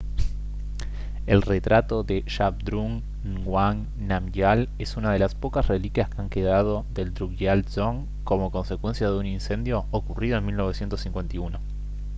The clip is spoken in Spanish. el retrato de zhabdrung ngawang namgyal es una de las pocas reliquias que han quedado del drukgyal dzong como consecuencia de un incendio ocurrido en 1951